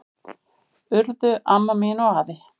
Urðu amma mín og afi.